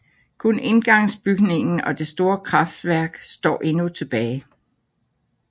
Kun indgangsbygningen og det store kraftværk står endnu tilbage